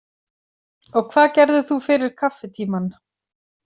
Og hvað gerðir þú fyrir kaffitímann?